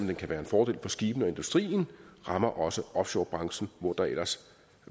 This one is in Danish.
det kan være en fordel for skibene og industrien rammer også offshorebranchen hvor der ellers